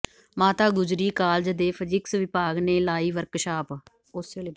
ਮਾਤਾ ਗੁਜਰੀ ਕਾਲਜ ਦੇ ਫਿਜ਼ਿਕਸ ਵਿਭਾਗ ਨੇ ਲਾਈ ਵਰਕਸ਼ਾਪ